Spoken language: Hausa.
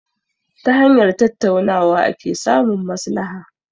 Ta hanyar tattaunawa ake samun maslaha.